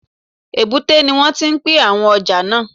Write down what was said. Èbúté ni wọ́n ti pín àwọn ọjà náà